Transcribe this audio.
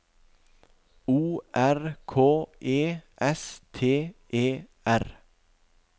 O R K E S T E R